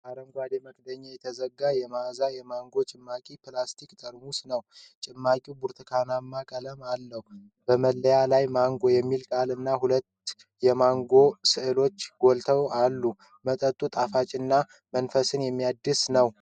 በአረንጓዴ መክደኛ የተዘጋ የማዛ የማንጎ ጭማቂ ፕላስቲክ ጠርሙስ ነው ። ጭማቂው ብርቱካንማ ቀለም አለው። በመለያው ላይ "ማንጎ" የሚለው ቃል እና የሁለት ማንጎዎች ሥዕል ጎልቶ አለ። መጠጡ ጣፋጭና መንፈስ የሚያድስ ነው።